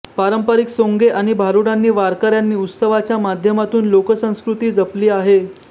पारंपरिक सोंगे आणि भारुडांनी गावकऱ्यांनी उत्सवाच्या माध्यमातून लोकसंस्कृती जपली आहे